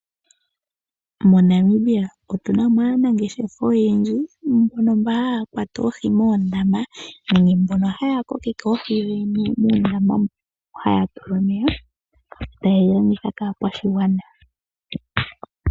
MoNamibia otu na mo aanangeshefa oyendji mbono haya kwata oohi moondama nenge mbono haya kokeke oohi dhi li muundama mono haya tula omeya, taye dhi landitha kaakwashigwana.